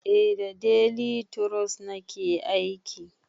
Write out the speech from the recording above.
Eh da delituros nake aiki